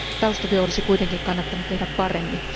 Taustatyö olisi kuitenkin kannattanut tehdä paremmin.